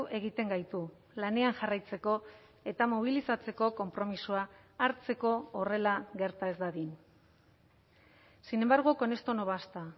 egiten gaitu lanean jarraitzeko eta mobilizatzeko konpromisoa hartzeko horrela gerta ez dadin sin embargo con esto no basta